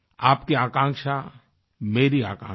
आपकी आकांक्षा मेरी आकांक्षा